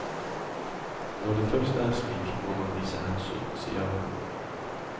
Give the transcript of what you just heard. Når det først er slik, må man vise hensyn, sier han.